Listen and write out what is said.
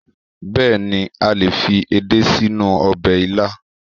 Bẹ́èni, a lè fi edé sínú ọbẹ̀ ilá